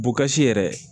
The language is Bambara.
Bukasi yɛrɛ